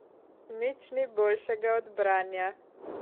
Nič ni boljšega od branja.